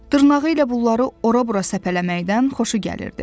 Dırnağı ilə bunları ora-bura səpələməkdən xoşu gəlirdi.